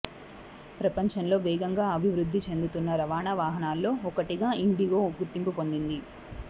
ప్రపంచంలో వేగంగా అభివృద్ధి చెందుతున్న రవాణా వాహనాలలో ఒకటిగా ఇండిగో గుర్తింపు పొందింది